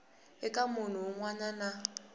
eka munhu wun wana na